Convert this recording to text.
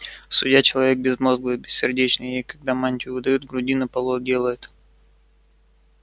судья человек безмозглый и бессердечный ей когда мантию выдают грудину полой делают